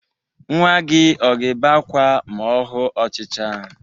Nnwa gị ọ ga-ebe ákwá ma ọ hu ọchịcha?